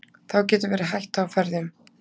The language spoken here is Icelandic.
þá getur verið hætta á ferðum